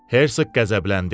Hersoq qəzəbləndi.